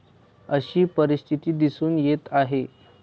अशी परिस्थिती दिसून येत आहे.